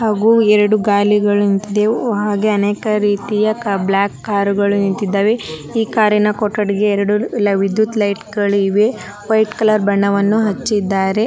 ಹಾಗು ಎರಡು ಗಾಲಿಗಳು ನಿಂತಿದಿವೆ ಹಾಗೆ ಅನೇಕ ರೀತಿಯ ಕೆ ಬ್ಲಾಕ್ ಕಾರ್ ಗಳು ನಿಂತಿದ್ದಾವೆ ಈ ಕಾರಿನ ಕೊಠಡಿಗೆ ಎರಡು ವಿದ್ಯುತ್ ಲೈಟ್ಗಳು ಇವೆ ವೈಟ್ ಕಲರ್ ಬಣ್ಣವನ್ನು ಹಚ್ಚಿದ್ದಾರೆ.